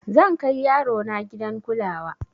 zan Kai yarona gidan kulawa